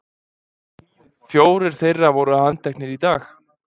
Fjórir þeirra voru handteknir í dag